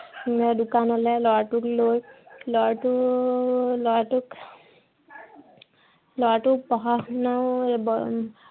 মই দোকানলে ল'ৰাটোক লৈ ল'ৰাটো, ল'ৰাটোক ল'ৰাটোক পঢ়া শুনাই আহ